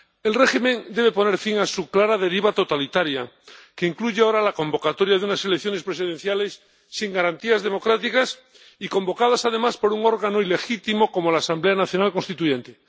El régimen debe poner fin a su clara deriva totalitaria, que incluye ahora la convocatoria de unas elecciones presidenciales sin garantías democráticas y convocadas, además, por un órgano ilegítimo como la Asamblea Nacional Constituyente.